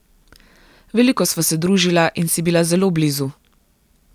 Veliko sva se družila in si bila zelo blizu.